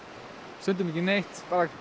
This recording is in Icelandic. stundum ekki neitt eða